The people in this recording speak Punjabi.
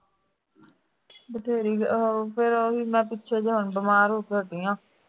ਬਥੇਰੀ ਉਹ ਫਿਰ ਮੈਂ ਪਿੱਛੇ ਜਿਹੇ ਬਿਮਾਰ ਹੋ ਕੇ ਹਟੀ ਹਾਂ